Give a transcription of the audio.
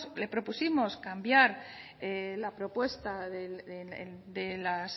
le propusimos cambiar la propuesta de las